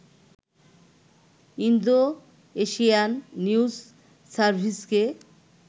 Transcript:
Indo-Asian news সার্ভিসকে